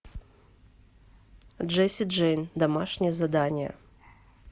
джесси джейн домашнее задание